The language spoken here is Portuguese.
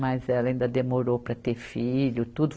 Mas ela ainda demorou para ter filho, tudo.